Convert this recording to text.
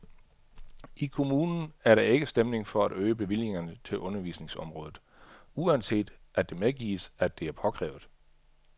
I kommunen er der ikke stemning for at øge bevillingerne til undervisningsområdet, uanset at det medgives, at det er påkrævet.